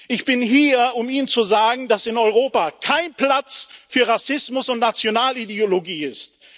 Ich bin hier, um Ihnen zu sagen, dass in Europa kein Platz für Rassismus und Nationalideologie ist.